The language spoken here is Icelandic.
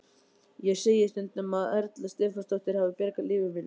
Ég segi stundum að Erla Stefánsdóttir hafi bjargað lífi mínu.